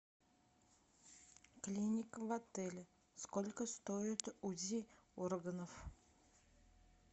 клиника в отеле сколько стоит узи органов